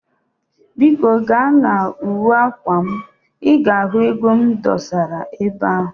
Biko gaa na uwe akwa m, i ga ego m dosara ebe ahu